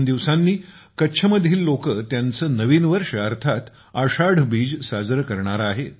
दोन दिवसांनी कच्छ मधील लोकं त्यांचे नवीन वर्ष अर्थात आषाढ बीज साजरे करणार आहेत